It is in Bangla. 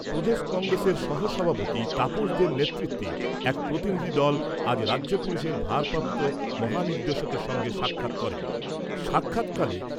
প্রদেশ কংগ্রেসের সহ সভাপতি তাপস দের নেতৃত্বে এক প্রতিনিধি দল আজ রাজ্য পুলিশের ভারপ্রাপ্ত মহানির্দেশক এর সঙ্গে সাক্ষাৎ করেন। সাক্ষাৎকালে